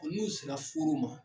n'u sera furu ma.